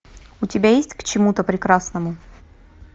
у тебя есть к чему то прекрасному